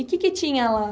E o que que tinha lá?